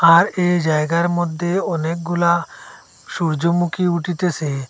আর এই জায়গার মধ্যে অনেকগুলা সূর্যমুখী উঠিতেসে।